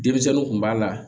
Denmisɛnninw kun b'a la